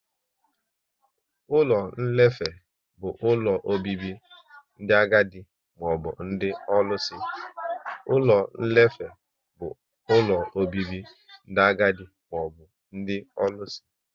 Ụlọ nlefe bụ ụlọ obibi ndị agadi maọbụ ndị ọlụsị